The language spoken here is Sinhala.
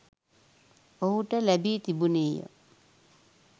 ඔහුට ලැබී තිබුණේ ය.